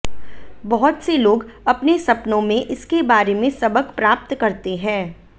बहुत से लोग अपने सपनों में इसके बारे में सबक प्राप्त करते हैं